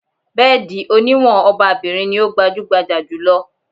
Bẹ́ẹ̀dì oníwọ̀n ọba-bìrin ní o gbajúgbajà jù lọ.